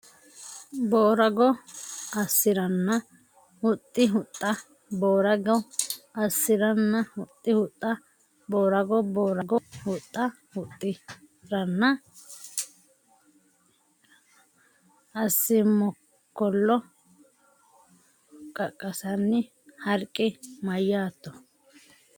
Boorago assi ranna huxxi huxxa Boorago assi ranna huxxi huxxa Boorago Boorago huxxa huxxi ranna assi Mokkollo qaqqasanni Harqi mayyaatto !